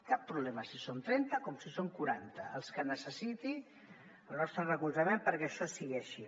cap problema si són trenta com si són quaranta els que necessiti el nostre recolzament perquè això sigui així